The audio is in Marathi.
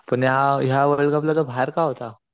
पण ह्या ह्या वर्ल्ड कप ला तो बाहेर का होता